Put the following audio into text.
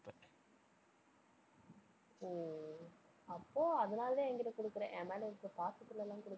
அப்போ அதனாலதான் என் கிட்ட கொடுக்கிற. என் மேல இருக்கிற பாசத்துல எல்லாம் கொடுக்கல.